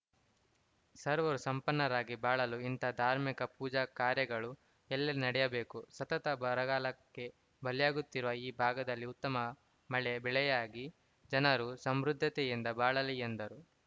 ಸರ್ವರೂ ಸಂಪನ್ನರಾಗಿ ಬಾಳಲು ಇಂತಹ ಧಾರ್ಮಿಕ ಪೂಜಾ ಕಾರ್ಯಗಳು ಎಲ್ಲಡೆ ನಡೆಯಬೇಕು ಸತತ ಬರಗಾಲಕ್ಕೆ ಬಲಿಯಾಗುತ್ತಿರುವ ಈ ಭಾಗದಲ್ಲಿ ಉತ್ತಮ ಮಳೆ ಬೆಳೆಯಾಗಿ ಜನರು ಸಮೃದ್ಧತೆಯಿಂದ ಬಾಳಲಿ ಎಂದರು